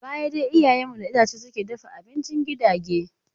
A baya dai iyayen mu da itace suke dafa abincin gidage.